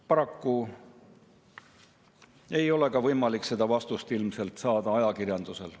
Paraku ei ole ilmselt võimalik seda vastust saada ka ajakirjandusel.